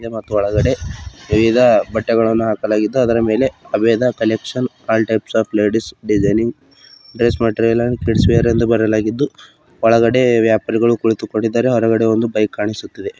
ಮತ್ತು ಒಳಗಡೆ ವಿವಿಧ ಬಟ್ಟೆಗಳನ್ನು ಹಾಕಲಾಗಿದೆ ಅದರ ಮೇಲೆ ಹಬೇದ collection all types of ladies designing dress material and kids wear ಎಂದು ಬರೆಯಲಾಗಿದ್ದು ಒಳಗಡೆ ವ್ಯಾಪಾರಿಗಳು ಕುಳಿತುಕೊಂಡಿದ್ದಾರೆ ಹೊರಗಡೆ ಒಂದು ಬೈಕ್ ಕಾಣಿಸುತ್ತಿದೆ.